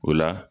O la